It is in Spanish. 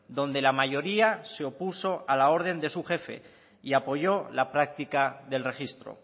donde la mayoría se opuso a la orden de su jefe y apoyó la práctica del registro